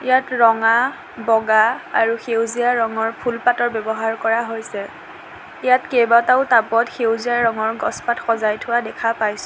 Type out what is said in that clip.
ইয়াত ৰঙা বগা আৰু সেউজীয়া ৰঙৰ ফুল পাতৰ ব্যৱহাৰ কৰা হৈছে ইয়াত কেইবাটাও টাপত সেউজীয়া ৰঙৰ গছপাত সজাই থোৱা দেখা পাইছোঁ।